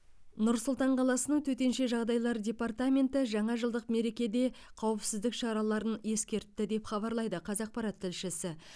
нұр сұлтан қаласының төтенше жағдайлар департаменті жаңажылдық мерекедегі қауіпсіздік шараларын ескертті деп хабарлайды қазақпарат тілшісі